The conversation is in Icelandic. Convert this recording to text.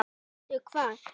Veistu hvað?